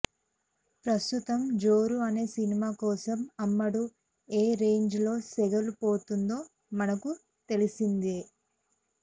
ప్రస్తుతం జోరు అనే సినిమా కోసం అమ్మడు ఏ రేంజ్ లో సెగలు పోతుందో మనకు తెలిసిందే